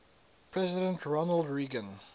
president ronald reagan